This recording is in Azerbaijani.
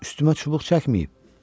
Üstümə çubuq çəkməyib.